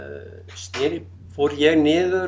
sneri fór ég niður